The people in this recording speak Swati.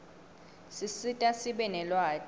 sisita sibe nelwati